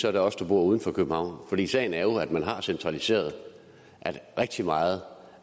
er det os der bor uden for københavn for sagen er jo at man har centraliseret at rigtig meget